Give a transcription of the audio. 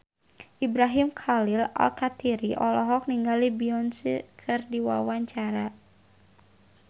Ibrahim Khalil Alkatiri olohok ningali Beyonce keur diwawancara